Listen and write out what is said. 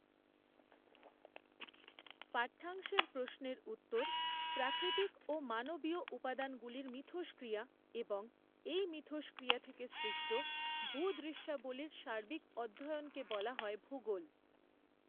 পাঠ্যাংশের প্রশ্নের উত্তর প্রাকৃতিক ও মানবীয় উপাদানগুলির মিথষ্ক্রিয়া এবং এই মিথষ্ক্রিয়া থেকে সৃষ্ট ভূদৃশ্যাবলীর সার্বিক অধ্যয়নকে বলা হয় ভূগোল।